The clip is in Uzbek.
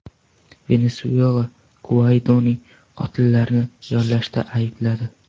Venesuela Guaydoni qotillarni yollashda aybladi.